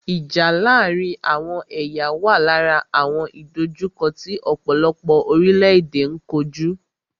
Ìjà láàárín àwọn ẹ̀yà wà lára àwọn ìdòjukọ́ tí ọ̀pọ̀lọpọ̀ orílẹ̀-èdè n kojú.